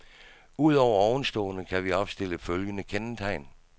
Ud over ovenstående kan vi opstille følgende kendetegn.